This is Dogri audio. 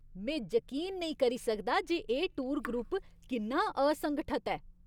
में जकीन नेईं करी सकदा जे एह् टूर ग्रुप किन्ना असंगठत ऐ।